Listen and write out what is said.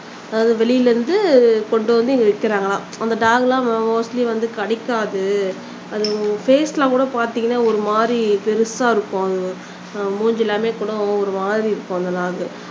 அதாவது வெளில இருந்து கொண்டுவந்து இங்க விக்கிறாங்களாம் அந்த டாக் எல்லாம் மோஸ்ட்லி வந்து கடிக்காது அது ஃபேஸ் எல்லாம்ல கூட பாத்தீங்கன்னா ஒரு மாறி பெருசா இருக்கும் மூஞ்சி எல்லாம்கூட ஒரு மாறி இருக்கும் அந்த டாக்